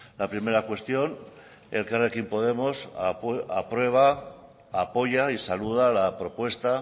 la primera cuestión elkarrekin podemos aprueba apoya y saluda la propuesta